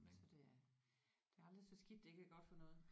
Så det er det er aldrig så skidt det ikke er godt for noget